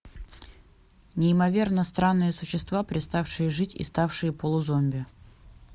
неимоверно странные существа переставшие жить и ставшие полузомби